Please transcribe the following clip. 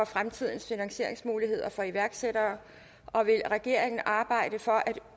fremtidens finansieringsmuligheder for iværksættere og vil regeringen arbejde for at